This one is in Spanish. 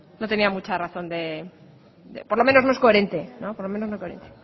no tenía mucha razón por lo menos no es coherente por lo menos no es coherente